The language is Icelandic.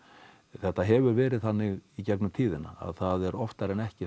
þetta hefur verið þannig í gegnum tíðina að það er oftar en ekki